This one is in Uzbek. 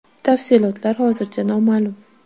Tafsilotlar hozircha noma’lum.